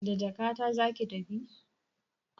Da jakata zaki tafi?